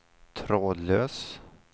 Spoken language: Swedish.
trådlös